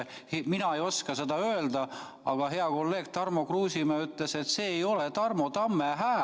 Mina ei oska seda öelda, aga hea kolleeg Tarmo Kruusimäe ütles, et see ei ole Tarmo Tamme hääl.